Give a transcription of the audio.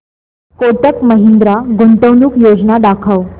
कोटक महिंद्रा गुंतवणूक योजना दाखव